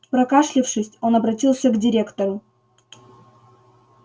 прокашлявшись он обратился к директору